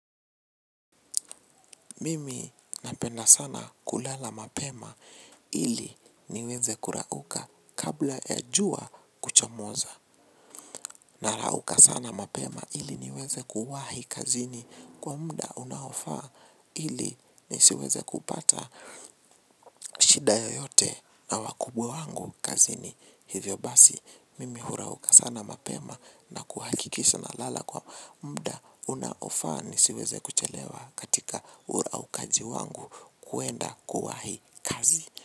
Mimi napenda sana kulala mapema ili niweze kurauka kabla ya jua kuchomoza. Narauka sana mapema ili niweze kuwahi kazini kwa muda unaofaa ili nisiweze kupata shida yoyote na wakubwa wangu kazini. Hivyo basi mimi hurauka sana mapema na kuhakikisha nalala kwa muda unaofaa nisiweze kuchelewa katika uraukaji wangu kuenda kwa hii kazi.